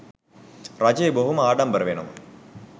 රජය බොහොම ආඩම්බර වෙනවා